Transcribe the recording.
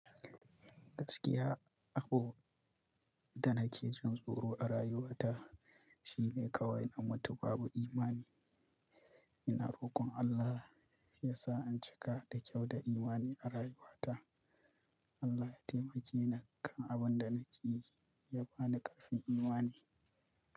Gaskiya, abun da nake jin tsoro a rayuwata shine kawai in mutu babu imani. Ina rokon Allah ya sa in cika da kyau da imani a rayuwata. Allah ya taimake ni akan abun da nake yi, ya ba ni ƙarfin imani.